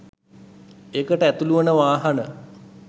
ඒකට ඇතුළු වන වාහන.